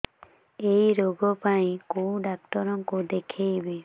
ଏଇ ରୋଗ ପାଇଁ କଉ ଡ଼ାକ୍ତର ଙ୍କୁ ଦେଖେଇବି